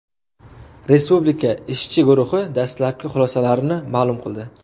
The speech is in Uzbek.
Respublika ishchi guruhi dastlabki xulosalarini ma’lum qildi.